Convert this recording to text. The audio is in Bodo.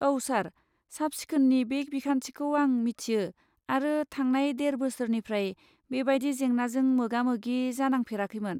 औ सार, साब सिखोननि बे बिखान्थिखौ आं मिथियो आरो थांनाय देर बोसोरनिफ्राय बेबायदि जेंनाजों मोगामोगि जानांफेराखैमोन।